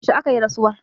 yaushe aka yi rasuwar